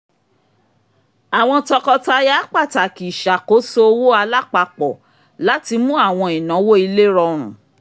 àwọn tọkọtaya pàtàkì ìṣàkóso owó alápapọ̀ láti mú àwọn ìnáwó ilé rọrùn